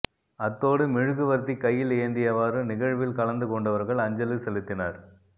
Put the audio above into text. அத்தோடு மொழுவர்த்தி கையில் ஏந்தியவாறு நிகழ்வில் கலந்து கொண்டவர்கள் அஞ்சலி செலுத்தினர்